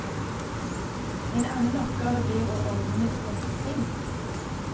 En annen oppgave blir å ordne med sponsing.